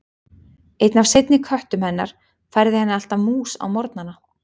Einn af seinni köttum hennar færði henni alltaf mús á morgnana.